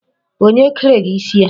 Onye kere gị isi a?